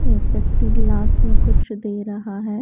एक व्यक्ति ग्लास में कुछ दे रहा है।